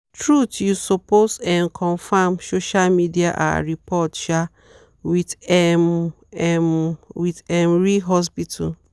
truth you supposed um confirm social media ah report um with um um with um real hospital.